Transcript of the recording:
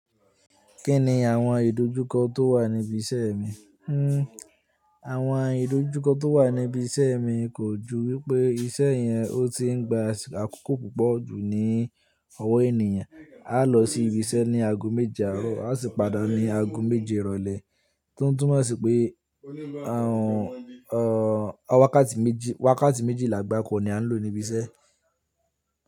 Kí ni àwọn ìdojúkọ tó wà níbi iṣẹ́ mi? Àwọn ìdojúkọ tó wà níbi iṣẹ́ mi kò ju wípé iṣẹ́ yẹn ó ti ń gba àkókò púpọ̀ jù ní ọwọ́ ènìyàn. A lọ sí ibi iṣẹ́ ní ago méje àárọ̀, a sì pàdà ní ago méje ìrọ̀lẹ́. Totu mọ́ sì pé àwọn ọ̀wákàtí méjìlá gbá kọ̀ ni a ń lò níbi iṣẹ́